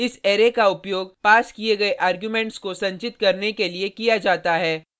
इस अरै का उपयोग पास किये गये आर्गुमेंट्स को संचित करने के लिए किया जाता है